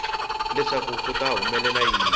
leswaku ku ta humelela yini